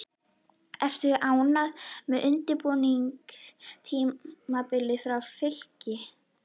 Ertu ánægður með undirbúningstímabilið hjá Fylki?